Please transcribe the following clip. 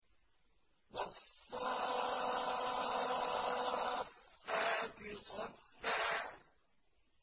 وَالصَّافَّاتِ صَفًّا